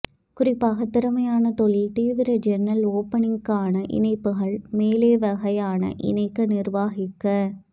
குறிப்பாக திறமையான தொழில் தீவிர ஜன்னல் ஓபனிங்குக்கான இணைப்புகள் மேலே வகையான இணைக்க நிர்வகிக்க